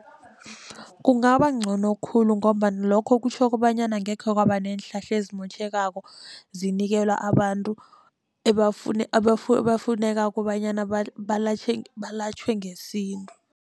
Kungaba ngcono khulu ngombana lokho kutjho kobanyana angekhe kwaba neenhlahla ezimotjhekako zinikelwa abantu ebafuneka kobanyana belatjhwe ngesintu.